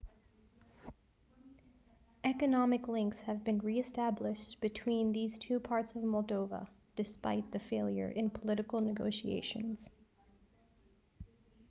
economic links have been re-established between these two parts of moldova despite the failure in political negotiations